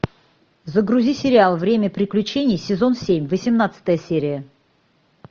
загрузи сериал время приключений сезон семь восемнадцатая серия